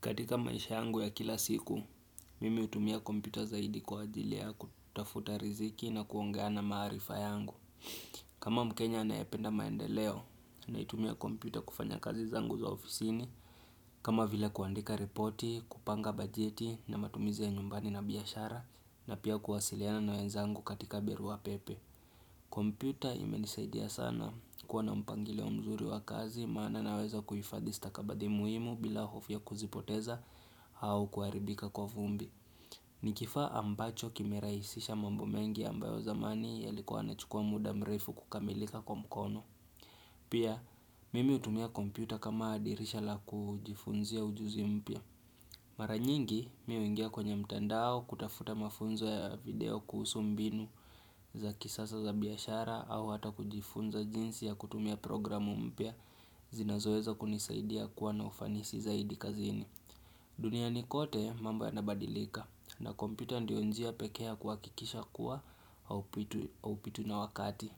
Katika maisha yangu ya kila siku, mimi hutumia kompyuta zaidi kwa ajili ya kutafuta riziki na kuongeana maharifa yangu. Kama mkenya anayependa maendeleo, naitumia kompyuta kufanya kazi zangu za ofisini. Kama vile kuandika repoti, kupanga bajeti na matumizi ya nyumbani na biashara, na pia kuwasiliana na wenzangu katika barua pepe. Kompyuta imenisaidia sana kuwa na mpangilio mzuri wa kazi maana naweza kuhifadhi stakabadhi muhimu bila hofu ya kuzipoteza au kuharibika kwa vumbi Nikifaa ambacho kimerahisisha mambo mengi ambayo zamani yalikuwa yana chukua muda mrefu kukamilika kwa mkono Pia mimi hutumia kompyuta kama dirisha la kujifunzia ujuzi mpya Mara nyingi mimi huingia kwenye mtandao kutafuta mafunzo ya video kuhusu mbinu za kisasa za biashara au hata kujifunza jinsi ya kutumia programu mpya zinazoweza kunisaidia kuwa na ufanisi zaidi kazini. Duniani kote mambo yanabadilika na kompyuta ndio njia pekea ya kuhakikisha kuwa hau pitwi na wakati.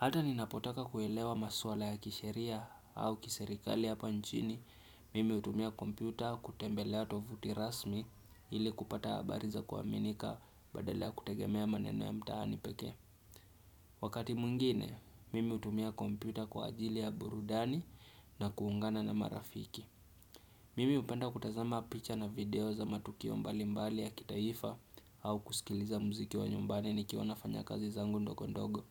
Hata ninapotaka kuelewa maswala ya kisheria au kiserikali hapa nchini, mimi hutumia kompyuta kutembelea tovuti rasmi ili kupata habari za kuaminika badala ya kutegemea maneno ya mtaani peke. Wakati mwingine, mimi hutumia kompyuta kwa ajili ya burudani na kuungana na marafiki. Mimi hupenda kutazama picha na video za matukio mbalimbali ya kitaifa au kusikiliza mziki wa nyumbani ni kiwa nafanya kazi zangu ndogondogo.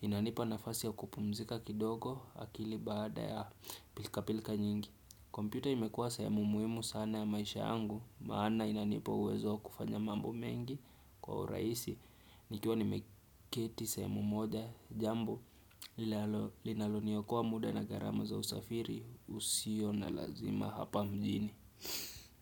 Inanipa nafasi ya kupumzika kindogo akili baada ya pilka pilka nyingi kompyuta imekuwa sahemu muhimu sana ya maisha yangu Maana inanipa uwezo wa kufanya mambo mengi kwa urahisi nikiwa nimeketi sahemu moja jambo linalo liokoa muda na gharama za usafiri usio na lazima hapa mjini.